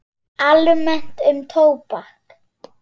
Almennt um tóbak